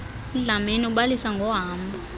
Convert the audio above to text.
udlamini ubalisa ngohambo